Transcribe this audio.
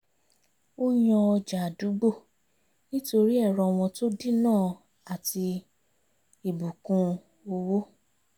ó yàn ọjà àdúgbò nítorí ẹ̀rọ wọn tó dínà àti ibùkún owó